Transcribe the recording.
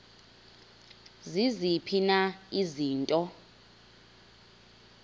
ziziphi na izinto